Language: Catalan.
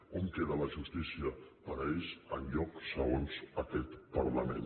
on queda la justícia per a ells enlloc segons aquest parlament